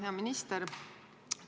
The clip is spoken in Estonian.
Hea minister!